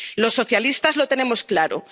Los socialistas lo tenemos claro.